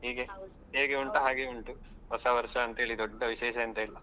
ಹೇಗೆ ಹಾಗೆ ಉಂಟು. ಹೊಸ ವರ್ಷ ಅಂತ ಹೇಳಿ ದೊಡ್ಡ ವಿಶೇಷ ಎಂತ ಇಲ್ಲ.